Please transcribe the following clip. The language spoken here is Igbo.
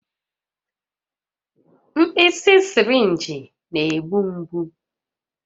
Mkpịsị sịrịnjị na-egbu mgbu